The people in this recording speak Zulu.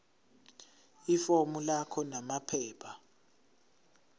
ifomu lakho namaphepha